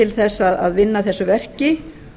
til að vinna að þessu verki